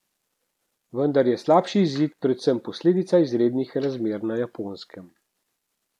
Vendar je slabši izid predvsem posledica izrednih razmer na Japonskem.